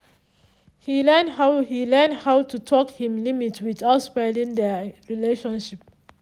he learn how he learn how to talk him limit without spoiling their relationship